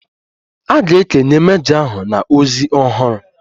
A ga-ekenye mejọ ahụ na ozi ọhụrụ.